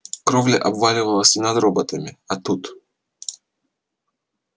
кровля обвалилась не над роботами а тут